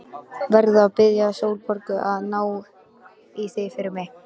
Verð að biðja Sólborgu að ná í það fyrir mig.